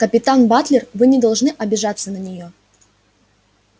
капитан батлер вы не должны обижаться на неё